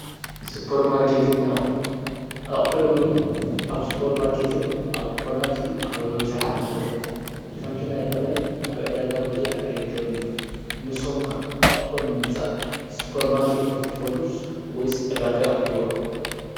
ስፖርማርኬትን ኣቁሑን ኣቁሑ ሎሚ ኣብ ስፖርማርኬትን ኣብ ድኳናት እዩ ኣብ ኣብዝሓ ዝርከብ። ከምቲ ናይ ቀደም ኣብ ዕዳጋ ብዙሕ ኣይርከብን እዩ። ንስኩም ከ ኣቁሑት ንምግዛእ ስፖርማርኬት ዲኩም ትከዱስ ወይስ ዕዳጋ ኢኩም ትወርዱ?